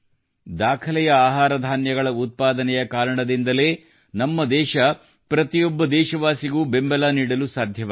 ದಾಖಲೆಯ ಆಹಾರ ಧಾನ್ಯಗಳ ಉತ್ಪಾದನೆ ಕಾರಣದಿಂದಾಗಿಯೇ ನಮ್ಮದೇಶ ಪ್ರತಿಯೊಬ್ಬ ದೇಶವಾಸಿಗೂ ಬೆಂಬಲ ನೀಡಲು ಸಾಧ್ಯವಾಗಿದೆ